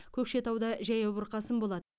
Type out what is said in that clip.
көкшетауда жаяу бұрқасын болады